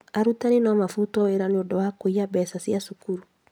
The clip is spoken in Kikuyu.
Arutani no mabutwo wĩra nĩ kũiya mbeca cia cukuru